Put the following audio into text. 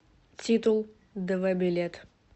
титул дв билет